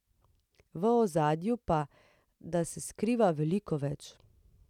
V ozadju pa, da se skriva veliko več.